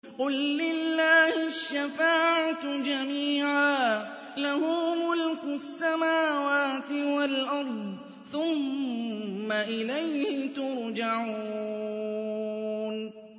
قُل لِّلَّهِ الشَّفَاعَةُ جَمِيعًا ۖ لَّهُ مُلْكُ السَّمَاوَاتِ وَالْأَرْضِ ۖ ثُمَّ إِلَيْهِ تُرْجَعُونَ